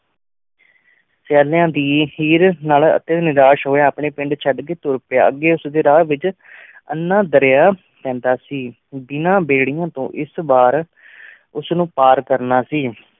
ਸਿਆਲਾਂ ਦੀ ਹੇਅਰ ਨਾਲ ਨਿਕਾਸ਼ ਹੂਯ ਆਪਣਾ ਪਿੰਡ ਚੜ ਕੀ ਤੁਰ ਪੇਯ ਅਘੀ ਉਸ ਡੀ ਰਾਹ ਵੇਚ ਏਨਾ ਦੇਰਯ ਪੈਂਦਾ ਸੀ ਬੇਨਾ ਬੇਰੇਆਂ ਤੂੰ ਇਸ ਬਾਰ ਉਸ ਨੂ ਪਰ ਕਰਨਾ ਸੀ